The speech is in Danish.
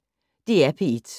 DR P1